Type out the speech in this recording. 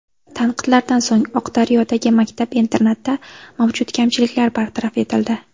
Tanqidlardan so‘ng Oqdaryodagi maktab-internatda mavjud kamchiliklar bartaraf etildi.